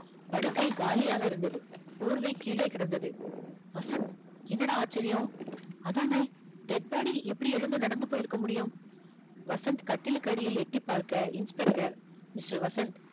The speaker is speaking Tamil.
படுக்கை காலியாக இருந்தது போர்வை கீழே கிடந்தது வசந்த் என்னடா ஆச்சரியம் அதானே dead body எப்படி எழுந்து நடந்து போயிருக்க முடியும் வசந்த் கட்டிலுக்கடியில் எட்டிப் பார்க்க inspector mister வசந்த்